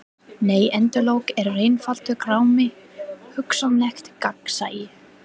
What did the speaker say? Nei endalok eru einfaldur grámi: hugsanlegt gagnsæi.